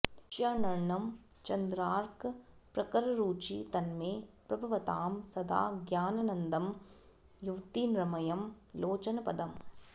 षडर्णं चन्द्रार्कप्रकररुचि तन्मे प्रभवतां सदा ज्ञानानन्दं युवतिनृमयं लोचनपदम्